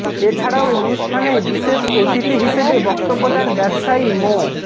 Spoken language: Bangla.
এছাড়াও অনুষ্ঠানে বিশেষ অতিথি হিসেবে বক্তব্য দেন ব্যবসায়ী মো